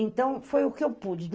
Então, foi o que eu pude.